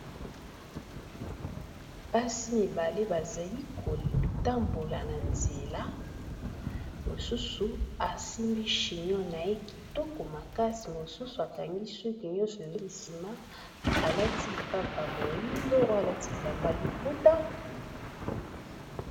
Basi mibale bazali kotambola na nzela mosusu asimbi chinon naye kitoko makasi mosusu akangi suki nyonso ezongi sima alati lipapa moyindo oyo alati bilamba liputa.